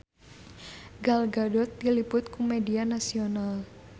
Gal Gadot diliput ku media nasional